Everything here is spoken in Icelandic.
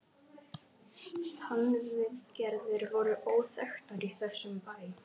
TannVIÐGERÐIR voru óþekktar í þessum bæ.